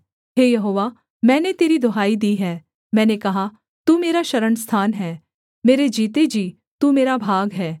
हे यहोवा मैंने तेरी दुहाई दी है मैंने कहा तू मेरा शरणस्थान है मेरे जीते जी तू मेरा भाग है